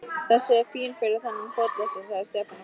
Þessi er fín fyrir þennan fótalausa sagði Stefán og glotti.